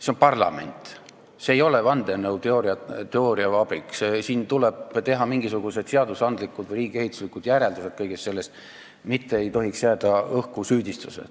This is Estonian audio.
See on parlament, see ei ole vandenõuteooria vabrik, siin tuleb kõigest teha mingisugused seadusandlikud või riigiehituslikud järeldused, süüdistused ei tohiks õhku jääda.